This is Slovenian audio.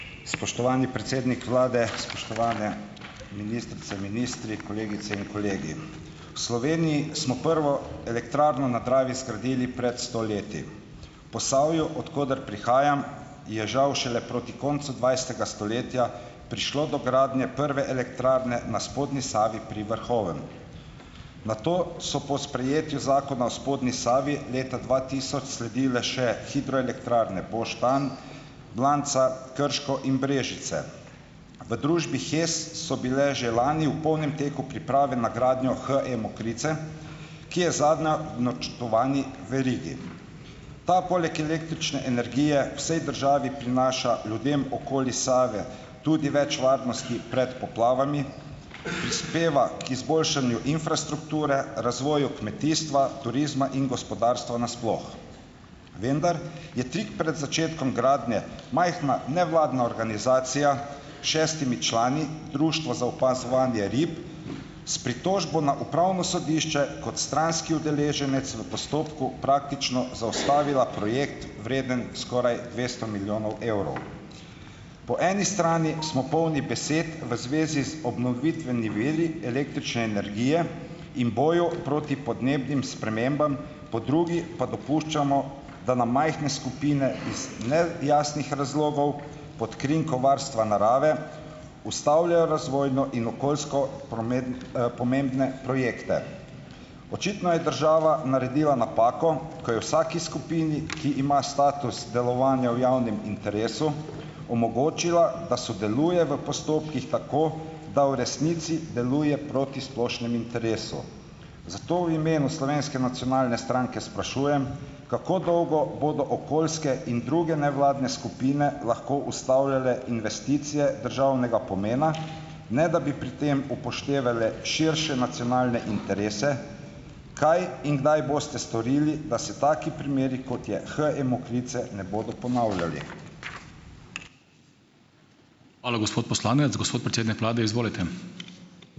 Spoštovani predsednik vlade, spoštovane ministrice, ministri, kolegice in kolegi! V Sloveniji smo prvo elektrarno na Dravi zgradili pred sto leti. Posavju, od koder prihajam, je žal šele proti koncu dvajsetega stoletja prišlo do gradnje prve elektrarne na spodnji Savi pri Vrhovem. Nato so po sprejetju Zakona spodnji Savi leta dva tisoč sledile še hidroelektrarne Boštanj, Blanca, Krško in Brežice. V družbi HES so bile že lani v polnem teku priprave na gradnjo HE Mokrice, ki je zadnja v načrtovani verigi. Ta poleg električne energije vsej državi prinaša ljudem okoli Save tudi več varnosti pred poplavami, prispeva k izboljšanju infrastrukture, razvoju kmetijstva, turizma in gospodarstva na sploh, vendar je tik pred začetkom gradnje, majhna, nevladna organizacija šestimi člani, Društvo za opazovanje rib, s pritožbo na upravno sodišče kot stranski udeleženec v postopku, praktično zaustavila projekt , vreden skoraj dvesto milijonov evrov. Po eni strani smo polni besed v zvezi z obnovitvenimi viri električne energije in boju proti podnebnim spremembam, po drugi pa dopuščamo, da nam majhne skupine iz ne jasnih razlogov pod krinko varstva narave, ustavljajo razvojno in okoljsko pomembne projekte. Očitno je država naredila napako, ko je vsaki skupini, ki ima status delovanja v javnem interesu, omogočila, da sodeluje v postopkih tako, da v resnici deluje proti splošnem interesu. Zato v imenu Slovenske nacionalne stranke sprašujem, kako dolgo bodo okoljske in druge nevladne skupine lahko ustavljale investicije državnega pomena, ne da bi pri tem upoštevale širše nacionalne interese. Kaj in kdaj boste storili, da se taki primeri, kot je HE Mokrice, ne bodo ponavljali?